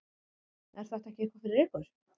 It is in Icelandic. Er þetta ekki eitthvað fyrir ykkur